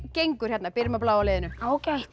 gengur hérna byrjum á bláa liðinu ágætlega